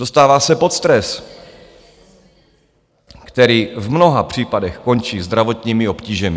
Dostává se pod stres, který v mnoha případech končí zdravotními obtížemi.